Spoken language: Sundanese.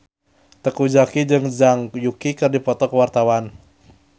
Teuku Zacky jeung Zhang Yuqi keur dipoto ku wartawan